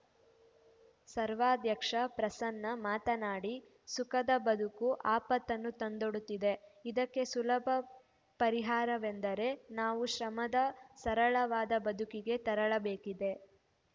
ಸರ್ವಾಧ್ಯಕ್ಷ ಪ್ರಸನ್ನ ಮಾತನಾಡಿ ಸುಖದ ಬದುಕು ಆಪತ್ತನ್ನು ತಂದೊಡ್ಡುತ್ತಿದೆ ಇದಕ್ಕೆ ಸುಲಭ ಪರಿಹಾರವೆಂದರೆ ನಾವು ಶ್ರಮದ ಸರಳವಾದ ಬದುಕಿಗೆ ತೆರಳಬೇಕಿದೆ